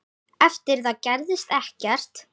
Eftir það gerðist ekkert.